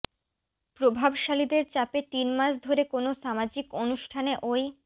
প্রভাবশালীদের চাপে তিন মাস ধরে কোনো সামাজিক অনুষ্ঠানে ওই